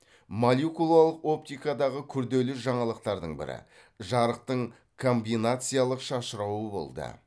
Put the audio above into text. молекулалық оптикадағы күрделі жаңалықтардың бірі жарықтың комбинациялық шашырауы болды